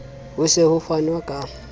ho se ho fanwe ka